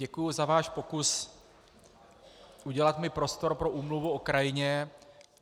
Děkuji za váš pokus udělat mi prostor pro úmluvu o krajině.